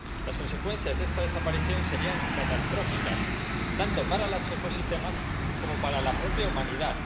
Las consecuencias de esta desaparición serían catastróficas tanto para los ecosistemas como para la propia humanidad.